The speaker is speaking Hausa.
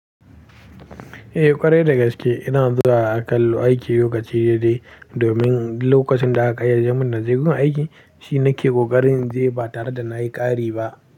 Eh ƙwarai da gaske ina zuwa akalla aiki lokaci daidai domin lokacin da aka yarje mun na je gun aiki shi nake kokarin inje ba tare da na yi ƙari ba.